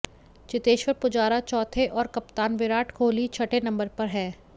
चेतेश्वर पुजारा चौथे और कप्तान विराट कोहली छठे नंबर पर हैं